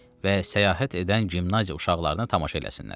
Və səyahət edən gimnaziya uşaqlarına tamaşa eləsinlər.